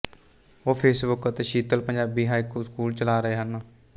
ਉਹ ਫੇਸਬੁੱਕ ਤੇ Sheetal Punjabi haiku school ਚਲਾ ਰਹੇ ਹਨ